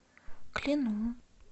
клину